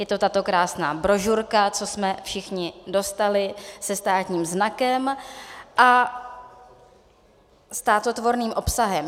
Je to tato krásná brožurka, co jsme všichni dostali, se státním znakem a státotvorným obsahem.